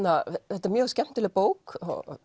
þetta er mjög skemmtileg bók